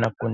na ku.